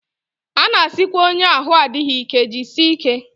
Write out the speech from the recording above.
A na-asịkwa onye ahụ adịghị ike jisie ike